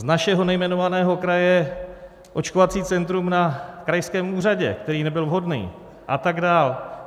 Z našeho nejmenovaného kraje očkovací centrum na krajském úřadě, který nebyl vhodný, a tak dál.